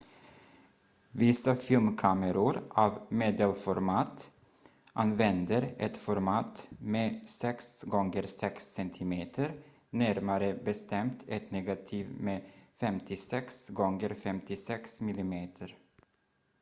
vissa filmkameror av medelformat använder ett format med 6 gånger 6 cm närmare bestämt ett negativ med 56 gånger 56 mm